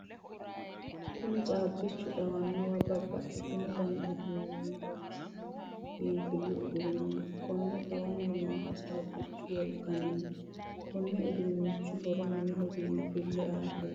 Kunni caabichu xawanowa babbaxino danni uduunninni loonsoonni biinfilu uduuneeti. Konni xawanni noohu caabichu wolqanniti. Konni uduunnichi horo mineho biinfile aateeti.